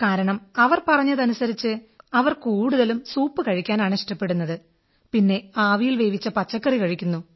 കാരണം അവർ പറഞ്ഞതനുസരിച്ച് അവർ കൂടുതലും സൂപ് കഴിക്കാനാണ് ഇഷ്ടപ്പെടുന്നത് പിന്നെ ആവിയിൽ വേവിച്ച പച്ചക്കറി കഴിക്കുന്നു